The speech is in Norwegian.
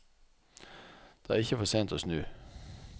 Det er ikke for sent å snu.